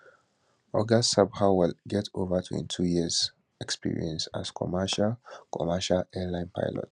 oga sabharwal get ova 22years experience as commercial commercial airline pilot